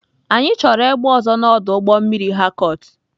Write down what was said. Anyị chọrọ egbe ọzọ na ọdụ ụgbọ mmiri Harcourt.